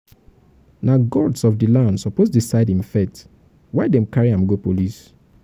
na gods of di land suppose decide im fate why dem carry am go police?